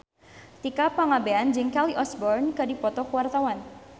Tika Pangabean jeung Kelly Osbourne keur dipoto ku wartawan